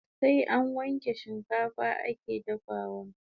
Sai an wanke shikafa ake dafawa